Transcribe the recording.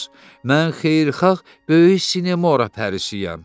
Mən xeyirxah Böyük Sinemora Pərisiyəm.